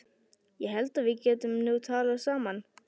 Ég held að við getum nú talað saman!